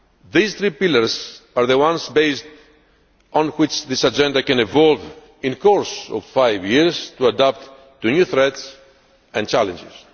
These three pillars are the ones based on which this Agenda can evolve in the course of five years to adapt to new threats and challenges.